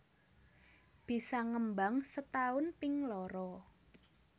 Bisa ngembang setaun ping loro